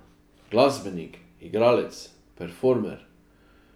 Glasbenik, igralec, performer.